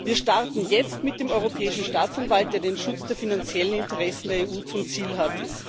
Wir starten jetzt mit dem Europäischen Staatsanwalt, der den Schutz der finanziellen Interessen der EU zum Ziel hat.